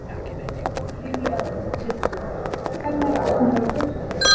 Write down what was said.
Lillý Valgerður Pétursdóttir: Hvernig er ástandið á götunum?